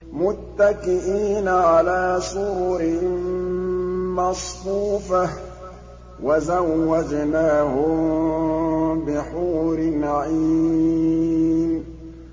مُتَّكِئِينَ عَلَىٰ سُرُرٍ مَّصْفُوفَةٍ ۖ وَزَوَّجْنَاهُم بِحُورٍ عِينٍ